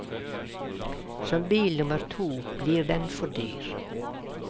Som bil nummer to blir den for dyr.